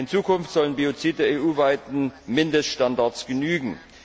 In Zukunft sollen Biozide EU weiten Mindeststandards genügen.